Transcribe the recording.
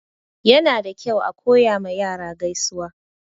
Yana da kyau a koya ma yara gaisuwa.